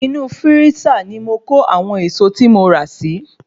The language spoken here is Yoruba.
Inú Fírísà ni mo kó àwọn ẹ̀èsọ tí mo ra si